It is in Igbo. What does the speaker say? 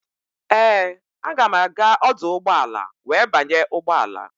Ee, aga m aga ọdụ ụgbọala wee banye ụgbọala.